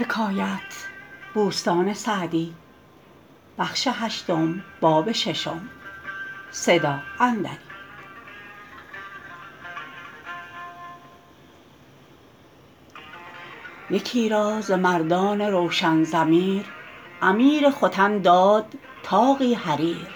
یکی را ز مردان روشن ضمیر امیر ختن داد طاقی حریر